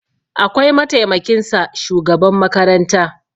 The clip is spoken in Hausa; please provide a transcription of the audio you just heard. akwai mataimakinsa shugaban makaranta